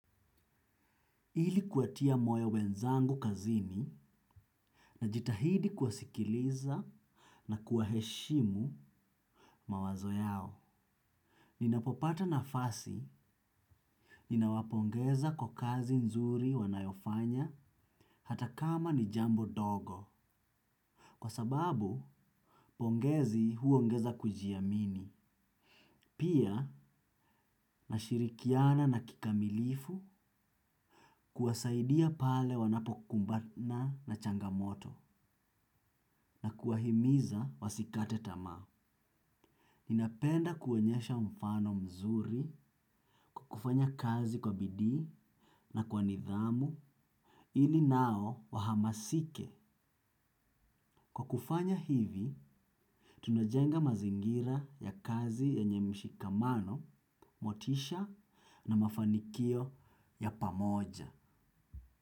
Ili kuwatia moyo wenzangu kazini najitahidi kuwasikiliza na kuwaheshimu mawazo yao. Ninapopata nafasi, ninawapongeza kwa kazi nzuri wanayofanya hata kama ni jambo dogo. Kwa sababu, pongezi huongeza kujiamini. Pia, nashirikiana na kikamilifu kuwasaidia pale wanapokumbana na changamoto na kuwahimiza wasikate tamaa. Ninapenda kuonyesha mfano mzuri kwa kufanya kazi kwa bidii na kwa nidhamu ili nao wahamasike. Kwa kufanya hivi, tunajenga mazingira ya kazi yenye mshikamano, motisha na mafanikio ya pamoja.